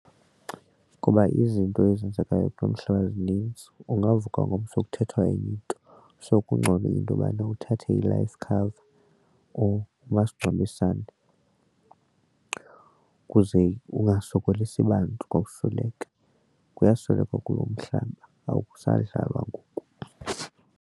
Kuba izinto ezenzekayo kulo mhlaba ezinintsi ungavuka ngomso kuthethwa enye into. So kungcono into yobana uthathe i-life cover or umasingcwabisane ukuze ungasokolisi bantu xa usweleka, kuyaswelekwa kulo mhlaba akusadlalwa ngoku.